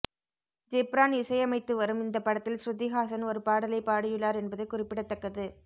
ஜிப்ரான் இசையமைத்து வரும் இந்த படத்தில் ஸ்ருதிஹாசன் ஒரு பாடலை பாடியுள்ளார் என்பது குறிப்பிடத்தக்கது